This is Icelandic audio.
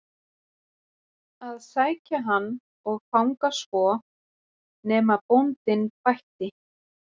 að sækja hann og fanga svo, nema bóndinn bætti.